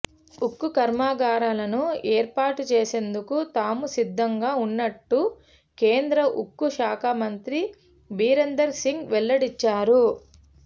ఉక్కు కర్మాగారాలను ఏర్పాటు చేసేందుకు తాము సిద్ధంగా ఉన్నట్టు కేంద్ర ఉక్కు శాఖ మంత్రి బీరేంద్ర సింగ్ వెల్లడించారు